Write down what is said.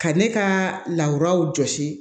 Ka ne ka lawuraw jɔsi